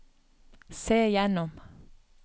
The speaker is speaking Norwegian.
se gjennom